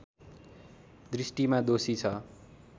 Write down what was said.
दृष्टिमा दोषी छ